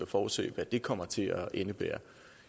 forudse hvad det kommer til at indebære